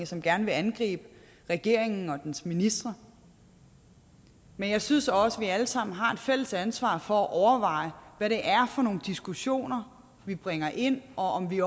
som gerne vil angribe regeringen og dens ministre men jeg synes også at vi alle sammen har et fælles ansvar for at overveje hvad det er for nogle diskussioner vi bringer ind og om vi